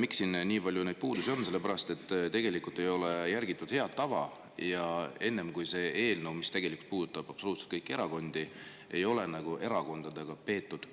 neid puudusi on siin nii palju sellepärast, et tegelikult ei ole järgitud head tava: enne selle absoluutselt kõiki erakondi puudutava eelnõu ei ole erakondadega nõu peetud.